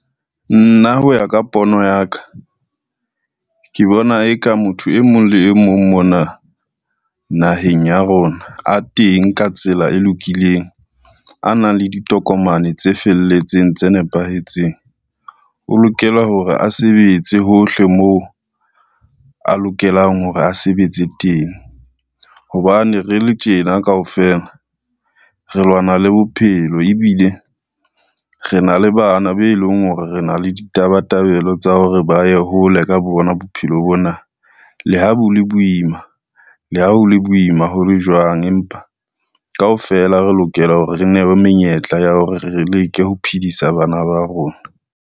Nna ho ya ka pono ya ka, ke bona e ka motho e mong le e mong mona naheng ya rona, a teng ka tsela e lokileng, a nang le ditokomane tse felletseng tse nepahetseng, o lokela hore a sebetse hohle moo a lokelang hore a sebetse teng. Hobane re le tjena kaofela re lwana le bophelo ebile re na le bana be leng hore re na le ditabatabelo tsa hore ba ye hole ka bo bona bophelo bona. Le ha bo le boima, le ha ho le boima ho le jwang, empa kaofela re lokela hore re ne be menyetla ya hore re leke ho phedisa bana ba rona.